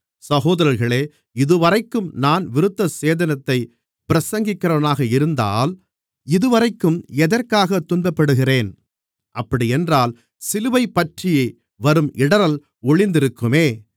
சகோதரர்களே இதுவரைக்கும் நான் விருத்தசேதனத்தைப் பிரசங்கிக்கிறவனாக இருந்தால் இதுவரைக்கும் எதற்காகத் துன்பப்படுகிறேன் அப்படியென்றால் சிலுவையைப்பற்றி வரும் இடறல் ஒழிந்திருக்குமே